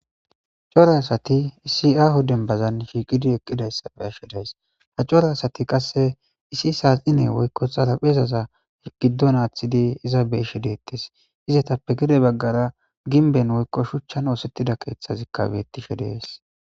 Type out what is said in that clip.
Cora asati isi aho dembazan shiiqidi eqqida issa be'ashe days. Ha cora asati qasse issi saaxine woykko xalaphezaza giddon aaththidi iza be'ashe deettis. Izetappe gede baggara ginben woykko shuchchan oosettida keeththazikka beettishe dees.